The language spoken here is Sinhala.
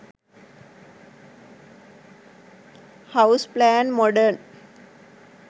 house plan modern